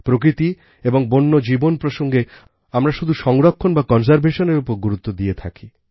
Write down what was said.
প্রকৃতি এবং বন্য জীবন প্রসঙ্গে আমরা শুধু সংরক্ষণ বা কনজারভেশন এর ওপর গুরুত্ব দিয়ে থাকি